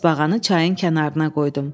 Tısbağanı çayın kənarına qoydum.